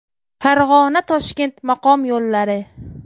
Farg‘ona-Toshkent maqom yo‘llari.